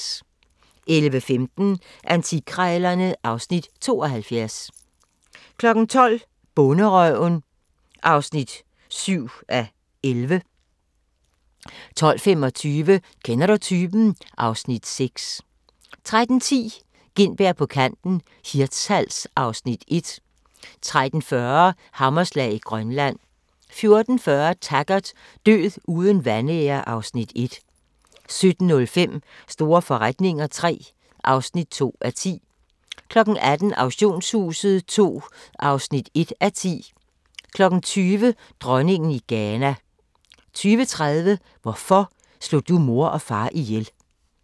11:15: Antikkrejlerne (Afs. 72) 12:00: Bonderøven (7:11) 12:25: Kender du typen? (Afs. 6) 13:10: Gintberg på kanten - Hirtshals (Afs. 1) 13:40: Hammerslag i Grønland 14:40: Taggart: Død uden vanære (Afs. 1) 17:05: Store forretninger III (2:10) 18:00: Auktionshuset II (1:10) 20:00: Dronningen i Ghana 20:30: Hvorfor slog du mor og far ihjel?